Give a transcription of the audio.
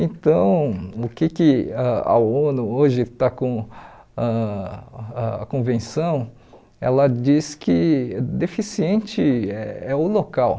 Então, o que que ãh a ONU hoje está com ãh a convenção, ela diz que deficiente é o local.